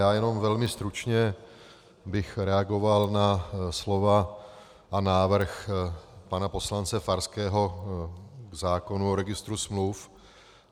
Já jenom velmi stručně bych reagoval na slova a návrh pana poslance Farského k zákonu o registru smluv.